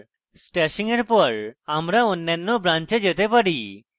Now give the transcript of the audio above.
উল্লেখ্য যে stashing এর পর আমরা অন্যান্য branches যেতে পারি